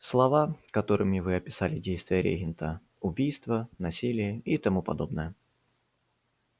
слова которыми вы описали действия регента убийства насилие и тому подобное